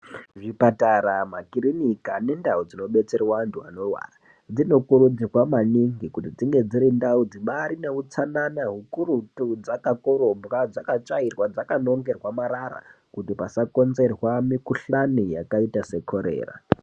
Muzvi patara ma kirinika ne ndau dzino detsera antu anorwara dzino kurudzirwa maningi kuti dzinge dzine utsanana ukurutu dzaka korobwa ,dzaka tsvairwa dzaka nongerwa marara kuti pasa konzerwa mu kuhlani yakaita se korera.